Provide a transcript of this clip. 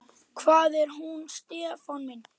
Hvað er nú Stefán minn?